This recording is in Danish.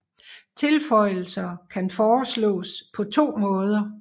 Tilføjelser kan foreslås på to måder